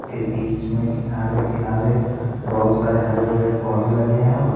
के बीच में किनारे किनारे बहुत सारे हरे भरे पौधे लगे हैं।